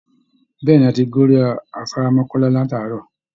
Bẹ́ẹ̀ ni, a ti gorí afárá mọkọ́lá láti àárọ̀